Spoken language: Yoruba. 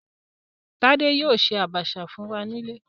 Tádé yóò ṣe Àbàṣà fún wa nílé